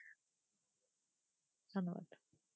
ধন্যবাদ,